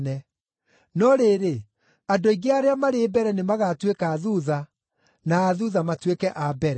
No rĩrĩ, andũ aingĩ arĩa marĩ mbere nĩmagatuĩka a thuutha, na a thuutha matuĩke a mbere.”